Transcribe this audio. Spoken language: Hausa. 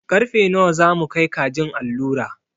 Karfe nawa za mu kai kajin allura?